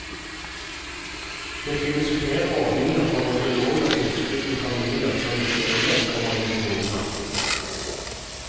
Det finnes flere ordninger for både lån og tilskudd til familier som ikke ellers kommer inn på boligmarkedet.